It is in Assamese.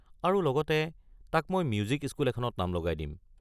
আৰু লগতে তাক মই মিউজিক স্কুল এখনত নাম লগাই দিম।